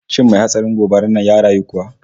Shin mai hatsarin gobarar nan ya rayu kuwa?